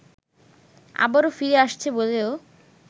আবারো ফিরে আসছে বলেও